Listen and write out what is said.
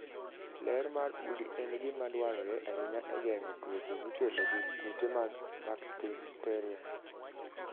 Ler mar udi en gima dwarore ahinya e geng'o tuoche mikelo gi kute mag bakteria.